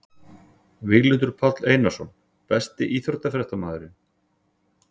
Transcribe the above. Víglundur Páll Einarsson Besti íþróttafréttamaðurinn?